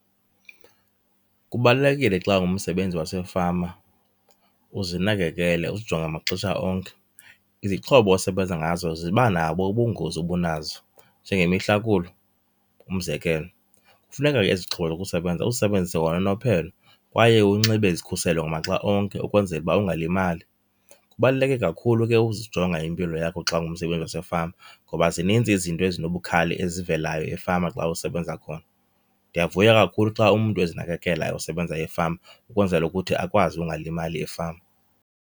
Kubalulekile xa ungumsebenzi wasefama uzinakekele, uzijonge maxesha onke. Izixhobo osebenza ngazo zibanabo ubungozi obunazo njengemihlakulo, umzekelo. Kufuneka ke ezi zixhobo zokusebenza uzisebenzise ngononophelo kwaye unxibe izikhuselo ngamaxa onke ukwenzela uba ungalimali. Kubaluleke kakhulu ke uzijonga impilo yakho xa ungumsebenzi wasefama ngoba zininzi izinto ezinobukhali ezivelayo efama xa usebenza khona. Ndiyavuya kakhulu xa umntu ezinakekela osebenza efama ukwenzela ukuthi akwazi ungalimali efama.